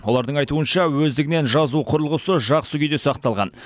олардың айтуынша өздігінен жазу құрылғысы жақсы күйде сақталған